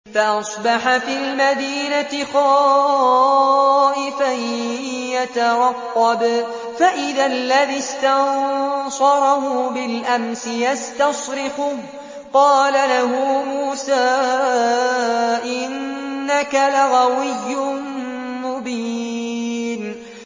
فَأَصْبَحَ فِي الْمَدِينَةِ خَائِفًا يَتَرَقَّبُ فَإِذَا الَّذِي اسْتَنصَرَهُ بِالْأَمْسِ يَسْتَصْرِخُهُ ۚ قَالَ لَهُ مُوسَىٰ إِنَّكَ لَغَوِيٌّ مُّبِينٌ